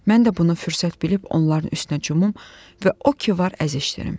Mən də bunu fürsət bilib onların üstünə cumum və o ki var əzişdirim.